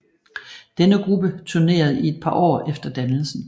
Denne gruppe turnerede i et par år efter dannelsen